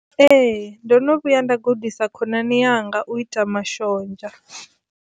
Ee, ndono vhuya nda gudisa khonani yanga u ita mashonzha.